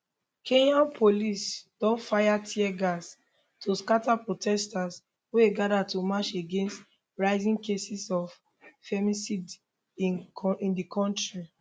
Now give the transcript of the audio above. kenyan police don fire tear gas to scata protesters wey gada to march against rising cases of femicide in di kontri